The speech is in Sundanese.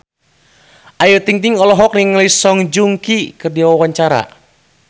Ayu Ting-ting olohok ningali Song Joong Ki keur diwawancara